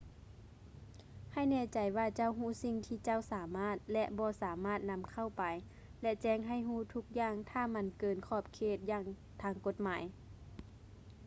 ໃຫ້ແນ່ໃຈວ່າເຈົ້າຮູ້ສິ່ງທີ່ເຈົ້າສາມາດ ແລະ ບໍ່ສາມາດນຳເຂົ້າໄປ ແລະ ແຈ້ງໃຫ້ຮູ້ທຸກຢ່າງຖ້າມັນເກີນຂອບເຂດທາງກົດໝາຍ